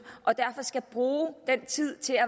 og derfor skal bruge den tid til at